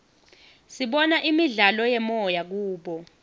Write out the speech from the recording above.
sibona imidlalo yemoya kubo